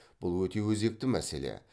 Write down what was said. бұл өте өзекті мәселе